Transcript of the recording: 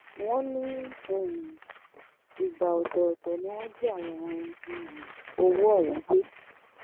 wọ́n ní um ìgbà ọ̀tọ̀ọ̀tọ̀ ni wọ́n jí àwọn um owó ọ̀hún gbé